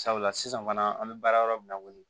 Sabula sisan fana an bɛ baara yɔrɔ min na ko bi